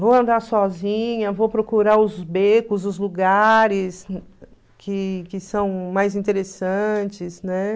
Vou andar sozinha, vou procurar os becos, os lugares que que são mais interessantes, né?